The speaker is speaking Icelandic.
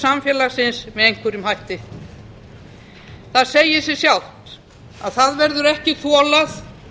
samfélagsins með einhverjum hætti það segir sig sjálft að það verður ekki þolað